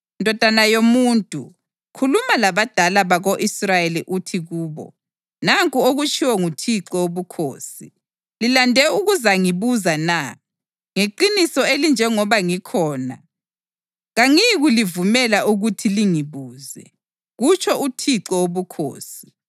“Ndodana yomuntu, khuluma labadala bako-Israyeli uthi kubo, ‘Nanku okutshiwo nguThixo Wobukhosi: Lilande ukuzangibuza na? Ngeqiniso elinjengoba ngikhona, kangiyikulivumela ukuthi lingibuze, kutsho uThixo Wobukhosi.’